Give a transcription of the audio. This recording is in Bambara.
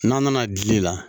N'a nana dili la